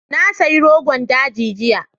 Na sayi rogon daji jiya.